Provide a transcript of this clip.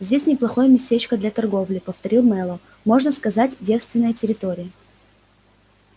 здесь неплохое местечко для торговли повторил мэллоу можно сказать девственная территория